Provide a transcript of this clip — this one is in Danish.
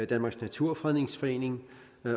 danmarks naturfredningsforening